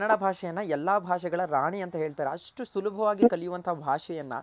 ನಮ್ ಕನ್ನಡ ಭಾಷೆ ಯನ್ನ ಎಲ್ಲಾ ಭಾಷೆಗಳ ರಾಣಿ ಅಂತ ಹೇಳ್ತಾರೆ ಅಷ್ಟು ಸುಲಭವಾಗಿ ಕಲಿಯುವಂತ ಭಾಷೆಯನ್ನ.